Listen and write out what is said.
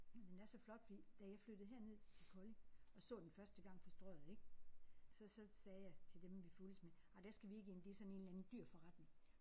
Men den er så flot fordi da jeg flyttede herned til Kolding og så den første gang på strøget ik. Så så sagde jeg til dem vi fulgtes med ej der skal vi ikke ind det er sådan en eller anden dyr forretning